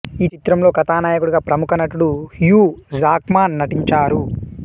ఈ చిత్రంలో కథానాయకుడిగా ప్రముఖ నటుడు హ్యూ జాక్మాన్ నటించారు